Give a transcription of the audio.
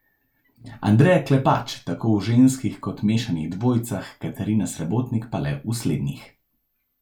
Andreja Klepač tako v ženskih kot mešanih dvojicah, Katarina Srebotnik pa le v slednjih.